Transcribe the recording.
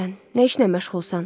Nə işlə məşğulsan?